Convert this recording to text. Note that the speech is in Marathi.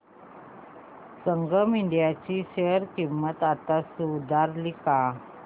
संगम इंडिया ची शेअर किंमत आता सुधारली का